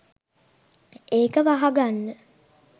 ඒක වහගන්න